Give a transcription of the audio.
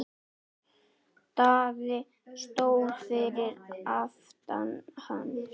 Daði stóð fyrir aftan hann.